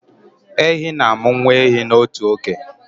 Ehi na-amụ nwa ehi 1 n'otu oge